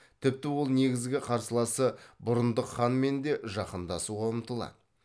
тіпті ол негізгі қарсыласы бұрындық ханмен де жақындасуға ұмтылады